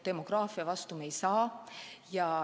Demograafia vastu me ei saa.